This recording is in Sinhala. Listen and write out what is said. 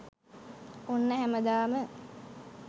ඔන්න හැමදාම